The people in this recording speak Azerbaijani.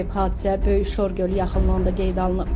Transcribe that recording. Hadisə Böyükşor gölü yaxınlığında qeydə alınıb.